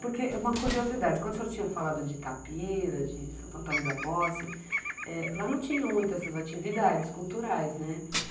Porque uma curiosidade, quando o senhor tinha falado de Itapira, de Santo Antônio da Posse, lá não tinha muito essas atividades culturais, né?